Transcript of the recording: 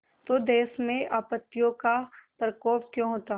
तो देश में आपत्तियों का प्रकोप क्यों होता